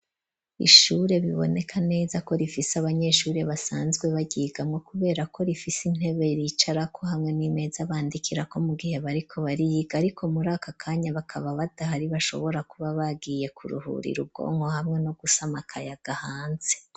Ishure biboneka neza ko rifise abanyeshuri basanzwe baryiganwo kubera ko rifise intebe bicarako hamwe n'imeza bandikira ko mu gihe bariko bariyiga ariko muri aka kanya bakaba badahari bashobora kuba bagiye kuruhurira ubwongo hamwe no gusamakaya gahanze.